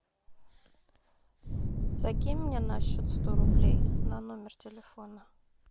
закинь мне на счет сто рублей на номер телефона